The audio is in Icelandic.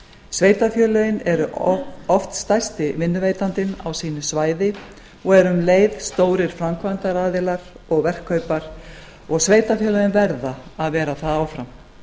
sveitarfélögin eru oft stærsti vinnuveitandinn á sínu svæði og eru um leið stórir framkvæmdaaðilar og verkkaupar og sveitarfélögin verða að vera það áfram